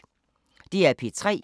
DR P3